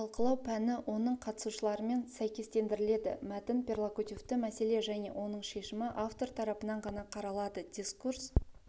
талқылау пәні оның қатысушыларымен сәйкестендіріледі мәтін перлокутивті мәселе және оның шешімі автор тарыпынан ғана қаралады дискурс